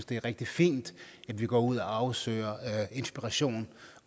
det er rigtig fint at vi går ud og søger inspiration